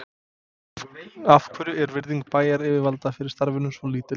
Af hverju er virðing bæjaryfirvalda fyrir starfinu svo lítil?